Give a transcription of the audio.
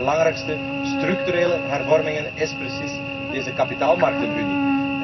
Eén van de belangrijkste structurele hervormingen is precies deze kapitaalmarktenunie.